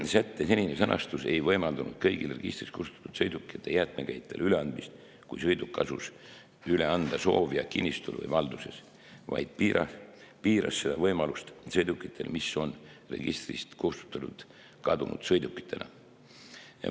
Sätte senine sõnastus ei võimaldanud kõigi registrist kustutatud sõidukite jäätmekäitlejale üleandmist, kui sõiduk asus üle anda soovija kinnistul või valduses, vaid piiras seda võimalust sõidukitega, mis on registrist kustutatud kadunud sõidukitena.